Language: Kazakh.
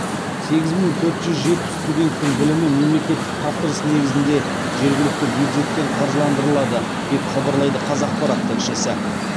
сегіз мың төрт жүз жетпіс студенттің білімі мемлекеттік тапсырыс негізінде жергілікті бюджеттен қаржыландырылады деп хабарлайды қазақпарат тілшісі